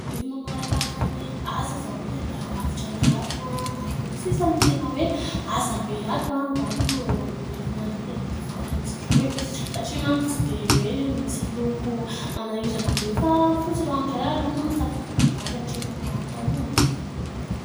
Efa mamaramparana ny asa zao ilay mpandrafitra anay ato a. Mandoko sisa no tena hoe asa be ato a, angamba ho eo amin'ny herinandro eo dia mety ho vitan'izy ireo e satria manko tsy dia hoe misy loko manahirana be fa fotsy ranoray aloha no safidinay mivady hatreto no atao ao anatiny.